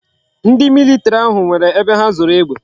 Ndi military ahu nwere ebe ha zoro egbe